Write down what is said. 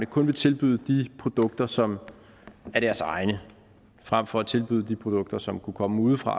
kun vil tilbyde de produkter som er deres egne frem for at tilbyde de produkter som kunne komme udefra